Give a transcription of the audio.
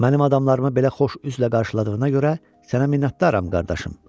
Mənim adamlarımı belə xoş üzlə qarşıladığına görə sənə minnətdaram, qardaşım.